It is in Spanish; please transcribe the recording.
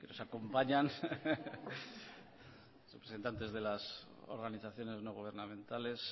que nos acompañan representantes de las organizaciones no gubernamentales